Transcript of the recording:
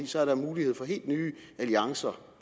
så er der mulighed for helt nye alliancer